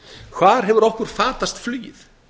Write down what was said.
hvar hefur okkur fatast flugið